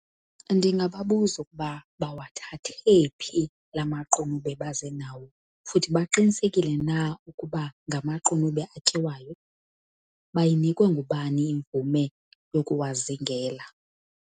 Ndingababuza ukuba bawathathe phi la maqunube baze nawo, futhi baqinisekile na ukuba ngamaqunube atyiwayo, bayinikwe ngubani imvume yokuwazingela.